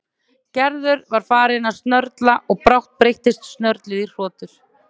Gerður var farin að snörla og brátt breyttist snörlið í hrotur.